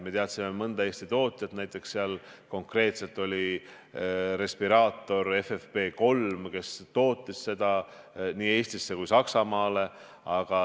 Me teadsime mõnda Eesti tootjat, näiteks firmat, kes konkreetselt respiraator FFP3 tootis nii Eestisse kui Saksamaale.